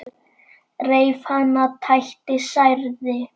Reif hana, tætti, særði.